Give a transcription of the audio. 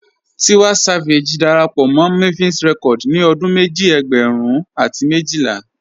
Tiwa Savage dàrápọ̀ mọ́ Mavin Records ní ọdún mẹ́jì ẹ̀gbẹ́rún àti mẹ́jìlà.